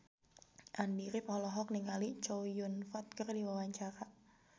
Andy rif olohok ningali Chow Yun Fat keur diwawancara